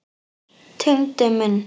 Tengdi minn.